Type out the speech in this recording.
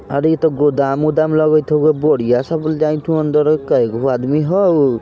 अरे इ ते गोदाम-उदाम लगैत हो कोय बोरिया सब जायेत हो अंदर कै गो आदमी हाउ।